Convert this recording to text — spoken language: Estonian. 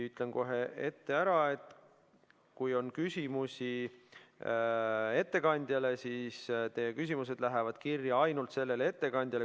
Ütlen kohe ette ära, et kui on küsimusi ettekandjale, siis teie küsimused lähevad kirja ainult sellele ettekandjale.